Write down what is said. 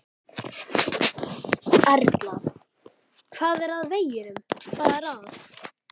Erla: Hvað er að veginum, hvað er að?